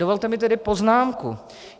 Dovolte mi tedy poznámku.